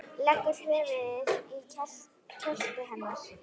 Leggur höfuðið í kjöltu hennar.